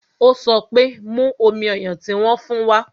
Ó sọ pé "Mú omi ọyàn tí wón fún wa"